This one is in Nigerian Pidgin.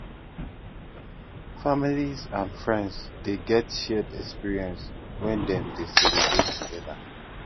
families and friends de get shared experience when dem de celebrate together